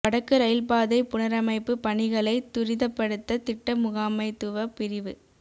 வடக்கு ரயில் பாதை புனரமைப்பு பணிகளை துரிதப்படுத்த திட்ட முகாமைத்துவ பிரிவு